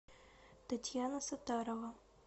татьяна сатарова